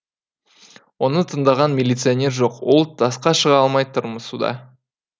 оны тыңдаған милиционер жоқ ол тасқа шыға алмай тырмысуда